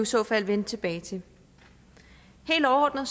så fald vende tilbage til helt overordnet